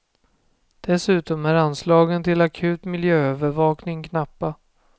Dessutom är anslagen till akut miljöövervakning knappa.